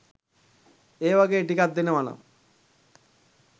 ඒ වගේ ටිකක් දෙනවනම්